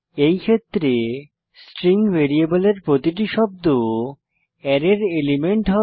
এই ক্ষেত্রে স্ট্রিং ভ্যারিয়েবলের প্রতিটি শব্দ অ্যারের এলিমেন্ট হবে